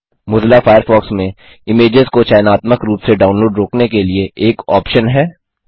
Mozilla Firefox में images को चयनात्मक रूप से डाउनलोड रोकने के लिए एक ऑप्शन है